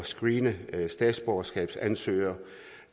screene statsborgerskabsansøgere